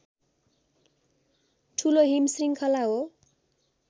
ठूलो हिमश्रृङ्खला हो